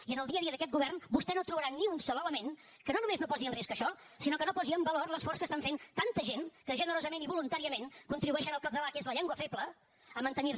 i en el dia a dia d’aquest govern vostè no trobarà ni un sol element que no només no posi en risc això sinó que no posi en valor l’esforç que estan fent tanta gent que generosament i voluntàriament contribueixen al català que és llengua feble a mantenir se